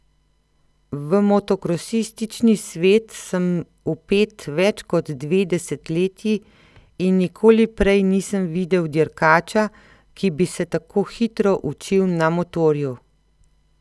V motokrosistični svet sem vpet več kot dve desetletji in nikoli prej nisem videl dirkača, ki bi se tako hitro učil na motorju.